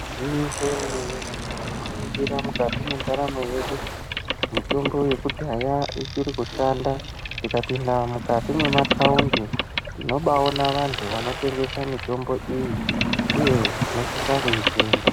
Igwinyiso remene mene tikaningira mukati kwandaramo yedu, mitombo yekudhaya ichiri kushanda. Tikapinda mukati memataundi tinobaaona vantu vanotengesa mitombo iyi uye tinosisa kuitenga.